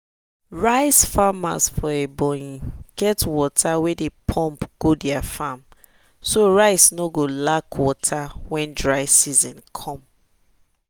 rice farmers for ebonyi get water way dey pump go their farm so rice no go lack water when dry season come.